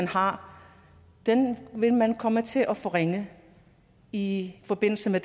har vil man komme til at forringe i forbindelse med